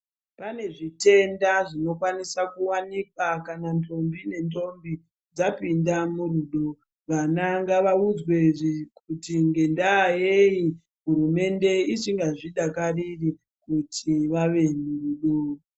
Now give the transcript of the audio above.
Pane zvitenda zvinokwanisa kuwanikwa kana ntombi nentombi dzapinda murudo vana ngavaudzwe kuti ngendaa yeti hurumende isingazvidakariri kuti vave murudo.